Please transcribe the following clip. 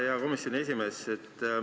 Hea komisjoni esimees!